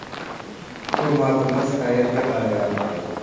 Hukumatimiz qayerga qarayapti?!